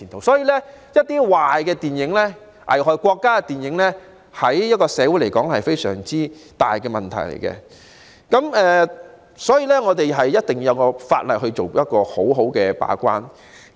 所以，具破壞力、危害國家的電影，對社會而言會構成非常嚴重的問題，必須透過法例做好把關工作。